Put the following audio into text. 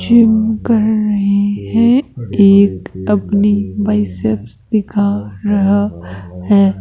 Gym कर रहे हैं एक अपनी बाइसेप्स दिखा रहा है।